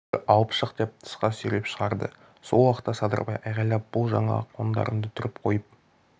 жүр алып шық деп тысқа сүйреп шығарды сол уақытта садырбай айғайлап бұл жаңа қондарыңды түріп қойып